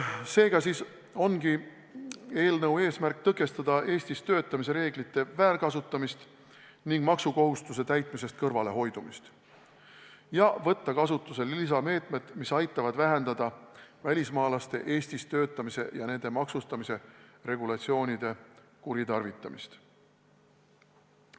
Seega ongi eelnõu eesmärk tõkestada Eestis töötamise reeglite rikkumist ning maksukohustuse täitmisest kõrvalehoidmist ja võtta kasutusele lisameetmed, mis aitavad vähendada välismaalaste Eestis töötamise ja nende maksustamise regulatsioonide kuritarvitamist.